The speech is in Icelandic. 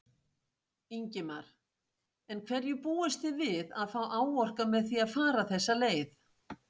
Ingimar: En hverju búist þið við að fá áorkað með því að fara þessa leið?